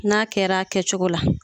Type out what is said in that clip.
N'a kɛra a kɛcogo la.